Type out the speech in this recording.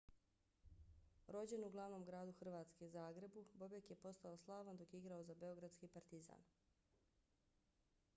rođen u glavnom gradu hrvatske zagrebu bobek je postao slavan dok je igrao za beogradski partizan